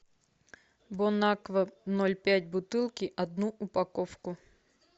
бон аква ноль пять бутылки одну упаковку